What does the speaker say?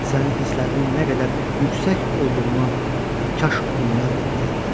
Sənin hisslərinin nə qədər yüksək olduğuna kaş onlar da biləydilər.